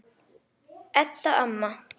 Edda amma.